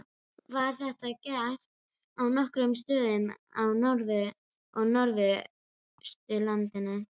Var þetta gert á nokkrum stöðum á Norður- og Norðausturlandi.